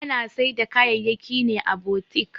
Ana Saida kaya'yaki ne à boutique.